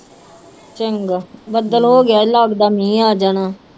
ਚੰਗਾ ਬੱਦਲ ਹੋ ਗਿਆ ਹੈ ਲੱਗਦਾ ਮੀਂਹ ਆ ਜਾਣਾ।